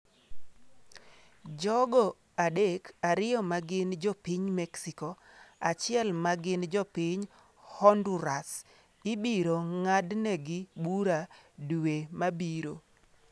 Jogo adek, ariyo ma gin jopiny Mexico, achiel ma gin jopiny Honduras, ibiro ng’adnegi bura dwe mabiro.